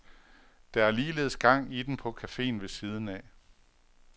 Der er ligeledes gang i den på caféen ved siden af.